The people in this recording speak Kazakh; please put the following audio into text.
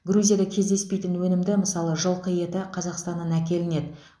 грузияда кездеспейтін өнімді мысалы жылқы еті қазақстаннан әкелінеді